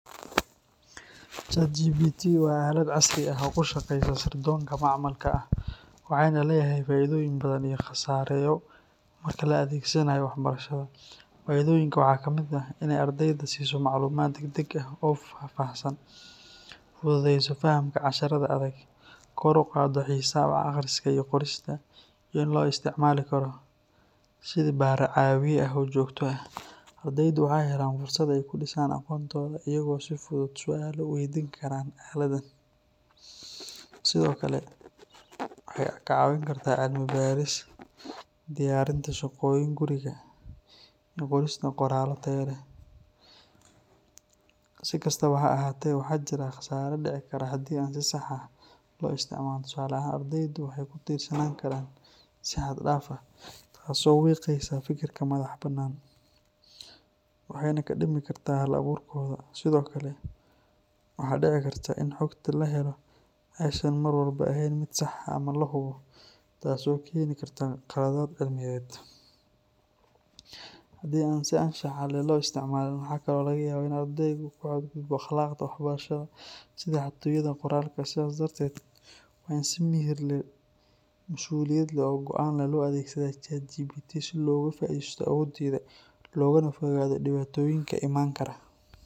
ChatGPT waa aalad casri ah oo ku shaqeysa sirdoonka macmalka ah, waxayna leedahay faa’iidooyin iyo khasaareyo marka la adeegsanayo waxbarashada. Faa’iidooyinka waxaa ka mid ah inay ardayda siiso macluumaad degdeg ah oo faahfaahsan, fududeyso fahamka casharrada adag, kor u qaaddo xiisaha wax akhriska iyo qorista, iyo in loo isticmaali karo sidii bare caawiye ah oo joogto ah. Ardaydu waxay helaan fursad ay ku dhisaan aqoontooda iyagoo si fudud su’aalo u weydiin kara aaladdan. Sidoo kale, waxay ka caawin kartaa cilmi-baaris, diyaarinta shaqooyinka guriga iyo qorista qoraallo tayo leh. Si kastaba ha ahaatee, waxaa jira khasaare dhici kara haddii aan si sax ah loo isticmaalin. Tusaale ahaan, ardaydu waxay ku tiirsanaan karaan si xad dhaaf ah, taasoo wiiqaysa fikirka madaxa bannaan, waxna ka dhimi karta hal-abuurkooda. Sidoo kale, waxaa dhici karta in xogta la helo aysan mar walba ahayn mid sax ah ama la hubo, taasoo keeni karta khaladaad cilmiyeed. Haddii aan si anshax leh loo isticmaalin, waxa kale oo laga yaabaa in ardaygu ku xadgudbo akhlaaqda waxbarasho sida xatooyada qoraalka. Sidaas darteed, waa in si miyir leh, mas’uuliyad leh oo go’aan leh loo adeegsadaa ChatGPT si looga faa’iidaysto awooddeeda, loogana fogaado dhibaatooyinka iman kara.